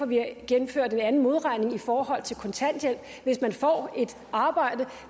vi har gennemført en anden modregning i forhold til kontanthjælp hvis man får et arbejde